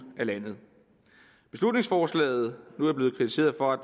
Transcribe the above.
af landet beslutningsforslaget er blevet kritiseret for at